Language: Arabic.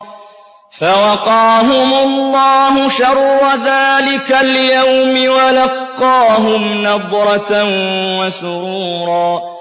فَوَقَاهُمُ اللَّهُ شَرَّ ذَٰلِكَ الْيَوْمِ وَلَقَّاهُمْ نَضْرَةً وَسُرُورًا